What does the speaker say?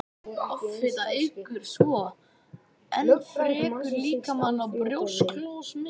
Offita eykur svo enn frekar líkurnar á að brjósklos myndist.